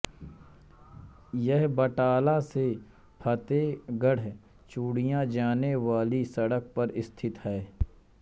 यह बटाला से फ़तेहगढ़ चूड़ियाँ जाने वाली सड़क पर स्थित है